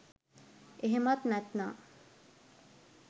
එහෙමත් නැත්නං